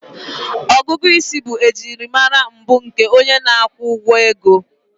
Ọgụgụ isi bụ ejiri mara mbụ nke onye na-akwụ ụgwọ ego